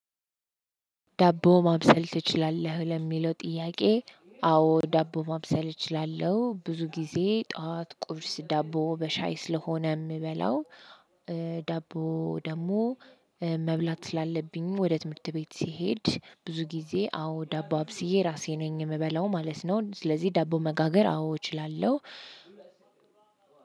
ዳቦ ማብሰል ትችላለህ ለሚለው ጥያቄ? አዎ ዳቦ ማብሰል እችላለሁ ብዙ ጊዜ ጠዋት ቁብርስ ዳቦ በሻይ ስለሆነ የምበላው። ዳቦ ደግሞ መብላት ስላለብኝ ወደ ትምህርት ቤት ስሄድ ብዙ ጊዜ አዎ ዳባ አብስዬ ራሴ ነኝ የምበላው ማለት ነው። ስለዚህ ዳቦ መጋገር አዎ እችላለሁ።